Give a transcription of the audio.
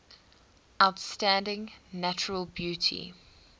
outstanding natural beauty